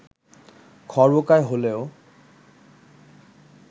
খর্বকায় হলেও